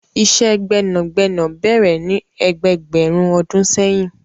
Ìṣẹ́ gbẹ́nàgbẹ́nà bẹ̀rẹ̀ ní ẹgbẹẹgbẹ̀rún ọdún seyin.